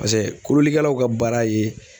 Paseke kololikɛlaw ka baara ye